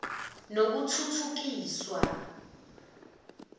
nokuthuthukiswa